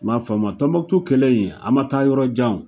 M'a faamu a, Tombouctou kɛlɛ in, a ma taa yɔrɔ jan o.